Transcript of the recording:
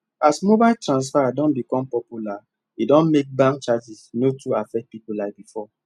as mobile transfer don become popular e don make bank charges no too affect people like before